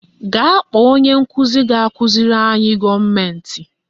Gaa kpọọ onye nkụzi ga-akụziri anyị gọọmentị